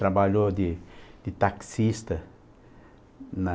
Trabalhou de de taxista na...